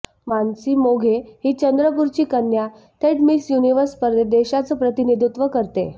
मानसी मोघे ही चंद्रपूरची कन्या थेट मिस युनिव्हर्स स्पर्धेत देशाचं प्रतिनिधित्व करतेय